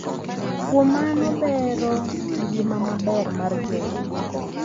Kuom mano, bero ngima maber mar joot duto .